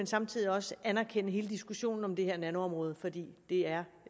samtidig også anerkende hele diskussionen om det her nanoområde for det er